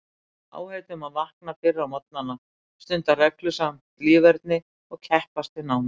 Áheit um að vakna fyrr á morgnana, stunda reglusamt líferni og keppast við námið.